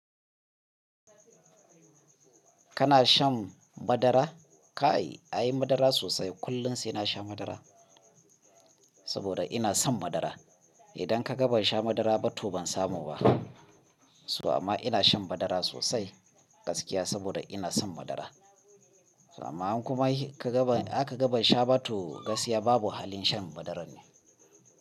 Kana shan madara? Kai, ai madara sosai. Kullum sai na sha madara saboda ina son madara. Idan ka ga ban sha madara ba, to ban samu ba. To amma ina shan madara sosai gaskiya saboda ina son madara. Amma kuma ka ga ban, aka ga ban sha ba to gaskiya babu halin shan madarar ne.